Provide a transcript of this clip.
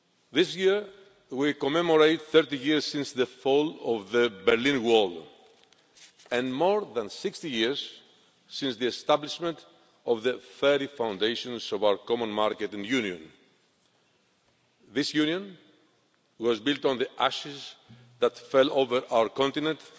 This year, we commemorate 30 years since the fall of the Berlin Wall and more than 60 years since the establishment of the very foundations of our Common Market and Union. This Union was built on the ashes that fell over our continent